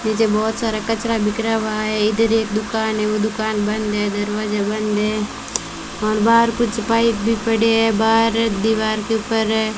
नीचे बहुत सारा कचरा बिखरा हुआ है इधर एक दुकान है वो दुकान बंद है दरवाजा बंद है और बाहर कुछ पाइप भी पड़े हैं बाहर दीवार के ऊपर --